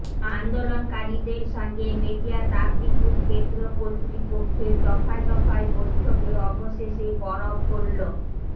আন্দোলনকারীদের সঙ্গে মেজিয়া তাপবিদ্যুৎ কেন্দ্র কর্তৃপক্ষের দফায় দফায় বৈঠকে অবশেষে বরফ গলল